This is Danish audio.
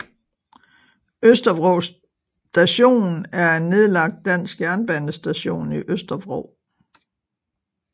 Østervrå Station er en nedlagt dansk jernbanestation i Østervrå